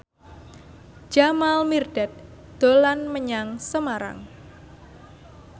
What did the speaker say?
Jamal Mirdad dolan menyang Semarang